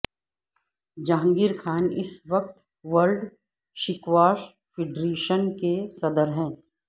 جہانگیرخان اس وقت world squash federation کے صدر ہیں